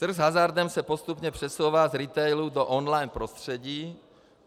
- Trh s hazardem se postupně přesouvá z retailu do online prostředí.